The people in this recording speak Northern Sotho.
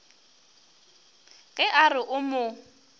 ge a re o mo